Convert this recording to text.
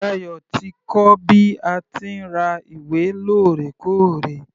Dayo ti kọ́ bí a ti ń ra ìwé lórẹkóòrè.